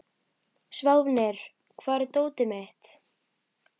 Sváfnir, hvar er dótið mitt?